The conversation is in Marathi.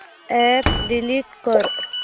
अॅप डिलीट कर